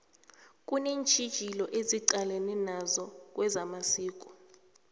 kunentjhijilo esiqalene nazo kwezamasiko